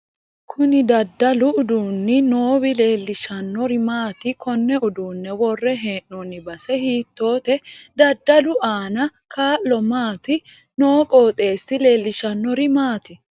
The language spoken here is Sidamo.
Kuni daddalu uduuni noowi leelshannori maati konne uduune worre heenooni base hiitoote daddalu aano kaa'lo maati noo qoxeesi leeloshanori maati